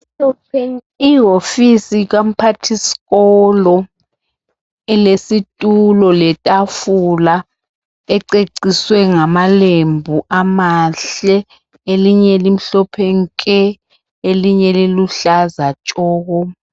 Ihofisi kamphathiskolo ilesitulo letafula ececiswe ngamalembu amahle, elinye limhlophe nke, elinye liluhlaza tshoko.